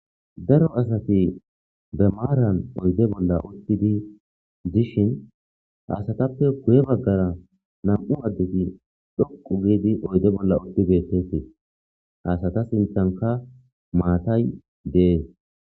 Daro asati maran oyide bolla utidi dishe he asatape guye bagara na'mu adeti dhoqu gidii oyide bolla betosona he asata sinithanika matay dees